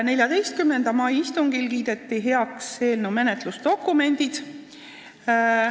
14. mai istungil kiideti heaks eelnõu menetlusdokumendid.